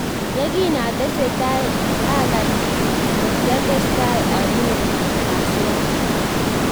Yekin atestai akany ko kiatestai anyoru wasi wasi